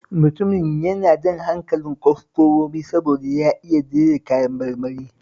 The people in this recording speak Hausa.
Mutumin yana jan hankalin kwastomomi saboda ya iya jera kayan marmari